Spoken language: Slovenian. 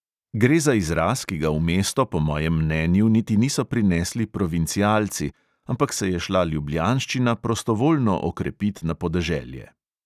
Gre za izraz, ki ga v mesto po mojem mnenju niti niso prinesli provincialci, ampak se je šla ljubljanščina prostovoljno okrepit na podeželje.